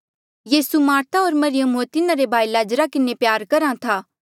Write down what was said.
यीसू Martha होर मरियम होर तिन्हारे भाई लाज़रा किन्हें प्यार करहा था